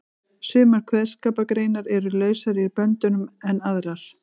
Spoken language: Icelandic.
Sumar kveðskapargreinar eru lausari í böndunum en aðrar.